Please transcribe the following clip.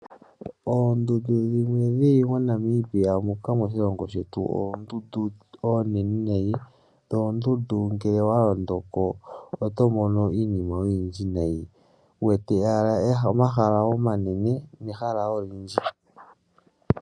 Oondundu dhimwe dhili moNamibia moka moshilongo shetu, oondundu oonene nayi, dho oondundu ngele owa londoko oto mono iinima oyindji nayi, wu wete owala omahala omanene, nehala olindji